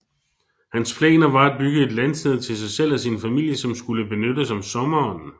Hans planer var at bygge et landsted til sig selv og sin familie som skulle benyttes om sommeren